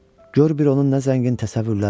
Gör bir onun nə zəngin təsəvvürləri var.